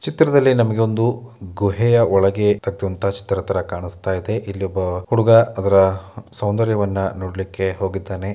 ಚಿತ್ರದಲ್ಲಿ ನಮಿಗೆ ಒಂದು ಗುಹೆಯ ಒಳಗೆ ಕಟ್ಟುವಂಥ ಚಿತ್ರದ್ ತರ ಕಾಣಸ್ತಾಯ್ದೆ ಇಲ್ಲಿ ಒಬ್ಬ ಹುಡುಗ ಅದ್ರ ಸೌಂದರ್ಯವನ್ನ ನೋಡ್ಲಿಕ್ಕೆ ಹೋಗಿದ್ದಾನೆ.